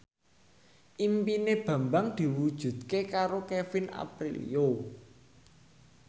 impine Bambang diwujudke karo Kevin Aprilio